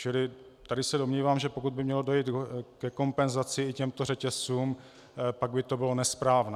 Čili tady se domnívám, že pokud by mělo dojít ke kompenzaci i těmto řetězcům, pak by to bylo nesprávné.